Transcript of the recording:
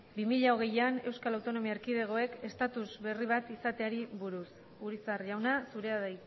bi mila hogeian eaek estatus berri bat izateari buruz urizar jauna zurea da